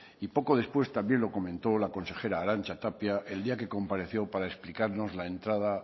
y poco después también lo comentó la consejera arantxa tapia el día que compareció para explicarnos la entrada